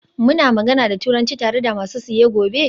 Muna magana da Turanci tare da masu siye gobe?